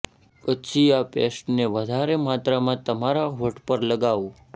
પછી આ પેસ્ટને વધારે માત્રામાં તમારા હોઠ પર લગાવો